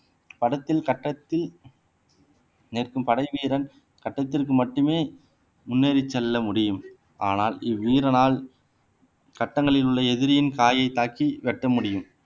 படத்தில் கட்டத்தில் நிற்கும் படைவீரன் கட்டத்திற்கு மட்டுமே முன்னேறிச் செல்ல முடியும் ஆனால் இவ்வீரனால் சட்டங்களில் உள்ள எதிரியின் காயை தாக்கி வெட்ட முடியும்